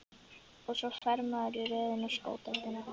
Og svo fer maður í röð inn á sko deildina.